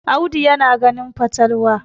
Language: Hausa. Audu yana ganin fatalwa